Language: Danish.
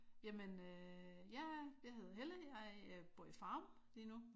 Jamen øh ja jeg hedder Helle og jeg bor i Farum lige nu